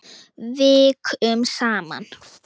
Vikum saman.